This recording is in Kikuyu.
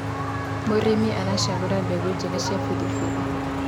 mũrĩmi aracagũra mbegũ njega ya biribiri